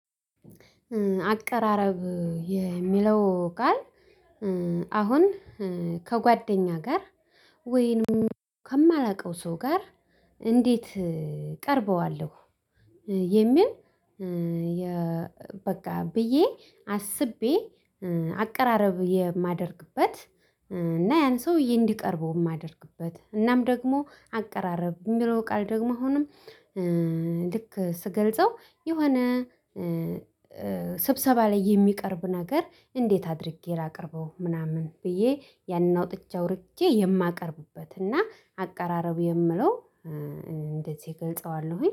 አቀራረብ የሚለው ቃል አሁን ከጓደኛ ጋር ወይንም ከማላውቀው ሰው ጋር እንዴት እቀርበዋለሁ? የሚል። በቃ ብዬ አስቤ አቀራረብ የማደርግበት። እና ያን ሰውዬ እንዲቀርበው የማደርግበት እናም ደግሞ አቀራረብ የሚለው ቃል ደግሞ አሁንም። ልክ ስገልጸው የሆነ ስብሰባ ላይ የሚቀርብ ነገር እንዴት አድርጌ ላቅርበው ምናምን ብዬ ያንን አውጥቼ አውርቼ የማቀርብበት እና አቀራረቡ የምለው እንደዚህ እገልጸዋለሁኝ